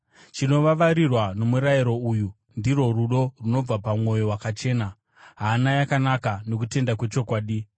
Chinovavarirwa nomurayiro uyu ndirwo rudo runobva pamwoyo wakachena, hana yakanaka nokutenda kwechokwadi.